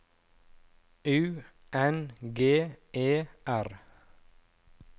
U N G E R